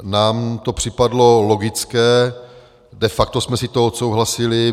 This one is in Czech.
Nám to připadlo logické, de facto jsme si to odsouhlasili.